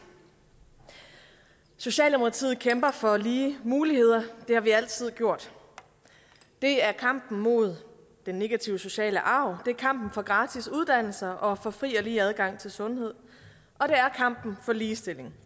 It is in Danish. socialdemokratiet kæmper for lige muligheder det har vi altid gjort det er kampen mod den negative sociale arv det er kampen for gratis uddannelser og for fri og lige adgang til sundhed og det er kampen for ligestilling